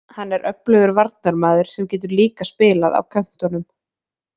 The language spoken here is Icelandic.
Hann er öflugur varnarmaður sem getur líka spilað á köntunum.